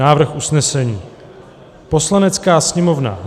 Návrh usnesení: "Poslanecká sněmovna